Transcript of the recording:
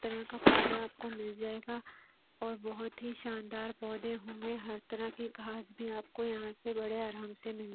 तरह का पौधा आपको मिल जाएगा और बहुत ही शानदार पौधे होंगे हर तरह की घास भी आपको यहां से बड़े आराम से मिल--